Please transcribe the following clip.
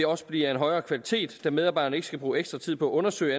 også blive af en højere kvalitet da medarbejderne ikke skal bruge ekstra tid på at undersøge